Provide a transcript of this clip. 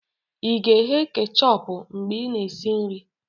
ị ga-eghe kechọpụ mgbe ị na-esi nri?